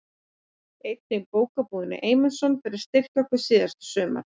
Einnig Bókabúðinni Eymundsson fyrir að styrkja okkur síðasta sumar.